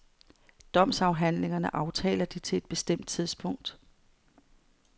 Domsforhandlingerne aftaler de til et bestemt tidspunkt.